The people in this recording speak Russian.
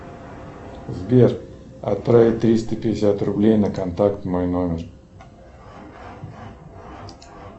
сбер отправить триста пятьдесят рублей на контакт мой номер